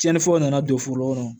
Tiɲɛni fɔlɔ nana don foro kɔnɔ